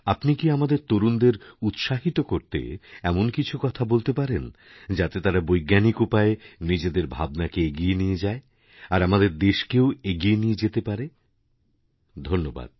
আপনি কি আমাদের তরুণদের উৎসাহিত করতে এমনকিছু কথা বলতে পারেন যাতে তারা বৈজ্ঞানিক উপায়ে নিজেদের ভাবনাকে এগিয়ে নিয়ে যায়আর আমাদের দেশকেও এগিয়ে নিয়ে যেতে পারে ধন্যবাদ